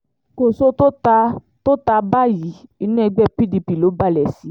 kòso tó ta tó ta báyìí inú ẹgbẹ́ pdp ló balẹ̀ sí